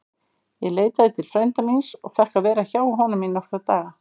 Ég leitaði til frænda míns og fékk að vera hjá honum í nokkra daga.